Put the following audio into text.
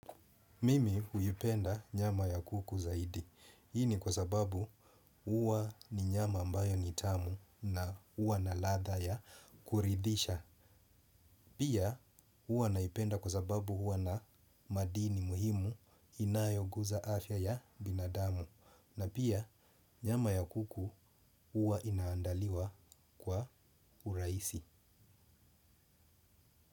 Mimi huipenda nyama ya kuku zaidi. Hii ni kwa sababu huwa ni nyama ambayo ni tamu na huwa na ladha ya kuridhisha. Pia huwa naipenda kwa sababu huwa na madini muhimu inayoguza afya ya binadamu. Na pia nyama ya kuku huwa inaandaliwa kwa urahisi.